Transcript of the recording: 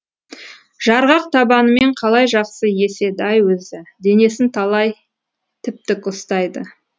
жарғақ табанымен қалай жақсы еседі ай өзі денесін талай тіп тік ұстайды